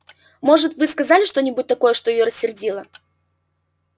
может мы сказали что-нибудь такое что её рассердило